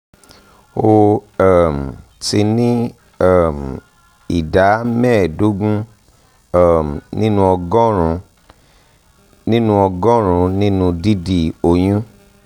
ó um ti ní um ìdá mẹ́ẹ̀ẹ́dógún um nínú ọgọ́rùn-ún nínú ọgọ́rùn-ún nínú dídi oyún